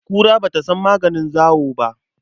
Kura ba ta san maganin zawo ba.